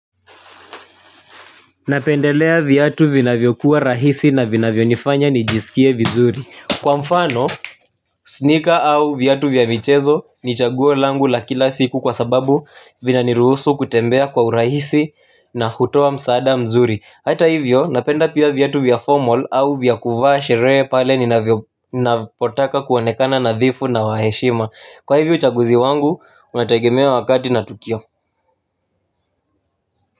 Napendelea vyatu vina vyokuwa rahisi na vina vyonifanya nijisikie vizuri. Kwa mfano, sneaker au vyatu vya michezo ni chaguo langu la kila siku kwa sababu vina nirusu kutembea kwa urahisi na hutowa msada mzuri. Hata hivyo, napenda pia vyatu vya formal au vyakuvashere pale nina potaka kuwonekana nadhifu na waheshima. Kwa hivyo chaguzi wangu, unatagemea wakati na tukio.